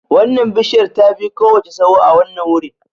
Wannan bishiyar tafi kowace tsawo a wannan wurin